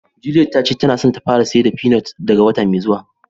Juliette ta ce ta na so ta fara sayar da peanut daga wota mai zuwa.